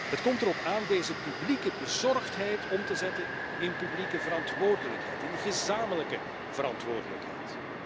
Het komt erop aan deze publieke bezorgdheid om te zetten in publieke verantwoordelijkheid, in gezamenlijke verantwoordelijkheid.